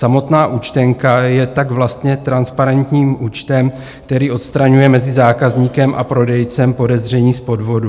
Samotná účtenka je tak vlastně transparentním účtem, který odstraňuje mezi zákazníkem a prodejcem podezření z podvodu.